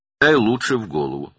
Yaxşısı budur, beyninə vur.